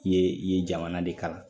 I ye i ye jamana de kalan